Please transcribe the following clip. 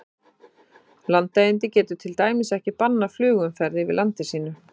Landeigandi getur til dæmis ekki bannað flugumferð yfir landi sínu.